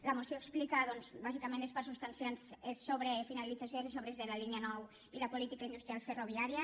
la moció explica bàsicament les parts substancials sobre la finalització i de les obres de la línia nou i la política industrial ferroviària